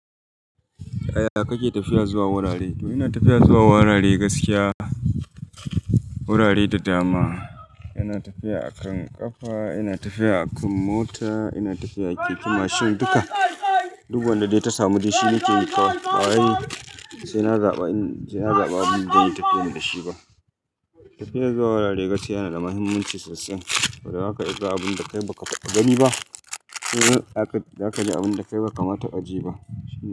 Yaya kake tafiya zuwa wurare? Ina tafiya zuwa wurare gaskiya, wurare da dama. Ina tafiya a kan ƙafa, ina tafiya a kan mota, ina tafiya a keke, mashin duka. Duk wanda dai ta samu dai shine ke yi kawai. Sai na zaɓa, sai na zaɓa abin da zan yi tafiya da shi ba. Tafiya zuwa wurare gaskiya yana da muhimmanci sosai. Wadda aka yi abun da kai ba ka ta gani ba, ko da aka yi abun da kai ba ka ma ta ajiye ba.